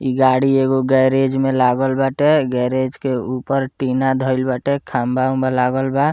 इ गाड़ी एगो गैरेज में लागल बाटे गैरेज के ऊपर टीना धाइल बाटे खंभा-उम्भा लागल बा।